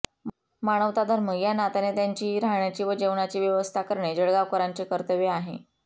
मानवता धर्म या नात्याने त्यांची राहण्याची व जेवणाची व्यवस्था करणे जळगावकरांचे कर्तव्य आहे